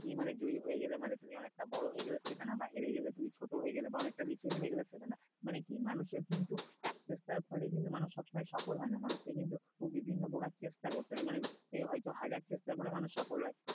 কি মানে জয়ী হয়ে গেলে মানে তুমি অনেকটা বড়ো হয়ে গেলে সেটা না বা হেরে গেলে তুমি ছোট হয়ে গেলে বা অনেকটা নিচে নেমে গেলে সেটা নই মানে কি মানুষের কিন্তু ফলে মানুষ কিন্তু সফল হয় না মানুষকে কিন্তু বিভিন্ন প্রকার চেষ্টা করতে হয় মানে এ হয় তো হাজার চেষ্টা করে মানুষ সফল হয়